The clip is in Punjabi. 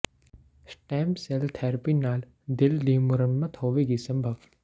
ਸਟੈੱਮ ਸੈੱਲ ਥੈਰੇਪੀ ਨਾਲ ਦਿਲ ਦੀ ਮੁਰੰਮਤ ਹੋਵੇਗੀ ਸੰਭਵ